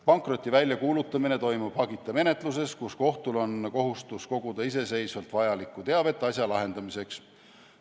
Pankroti väljakuulutamine toimub hagita menetluses, kus kohtul on kohustus koguda iseseisvalt vajalikku teavet asja lahendamiseks.